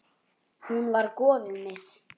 Hún var goðið mitt.